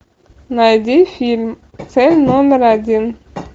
найди фильм цель номер один